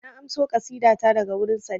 Na amso ƙasida ta daga wurin Sadeeq